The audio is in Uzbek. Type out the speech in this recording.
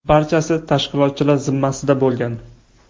Barchasi tashkilotchilar zimmasida bo‘lgan.